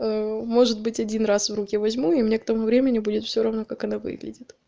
может быть один раз в руки возьму и мне к тому времени будет все равно как она выглядит